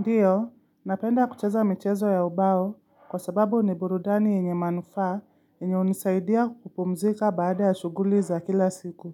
Ndiyo, napenda kucheza michezo ya ubao kwa sababu ni burudani yenye manufaa yenye hunisaidia kupumzika baada ya shughuli za kila siku.